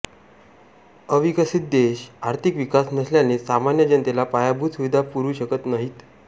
अविकसित देश आर्थिक विकास नसल्याने सामान्य जनतेला पायाभूत सुविधा पुरवू शकत नाहीत